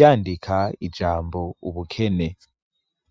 yandika ijambo ubukene